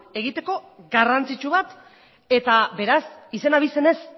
egiteko garrantzitsu bat eta beraz izen abizenez